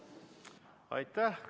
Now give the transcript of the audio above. Aitäh!